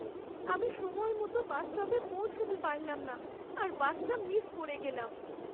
আমি সময়মতো বাসস্টপে পৌঁছাতে পারলাম না আর বাসটা মিস করে গেলাম।